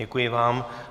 Děkuji vám.